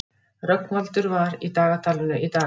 Rögnvaldur, hvað er í dagatalinu í dag?